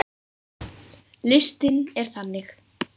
Listinn er þannig